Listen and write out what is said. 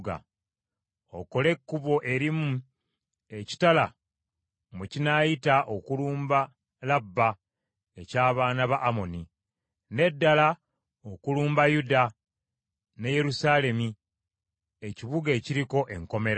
Okole ekkubo erimu ekitala mwe kinaayita okulumba Labba eky’abaana ba Amoni, n’eddala okulumba Yuda ne Yerusaalemi ekibuga ekiriko enkomera.